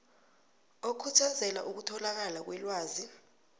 okhuthazela ukutholakala kwelwazi